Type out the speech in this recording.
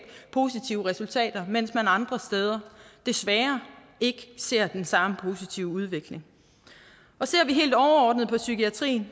positive resultater mens man andre steder desværre ikke ser den samme positive udvikling ser vi helt overordnet på psykiatrien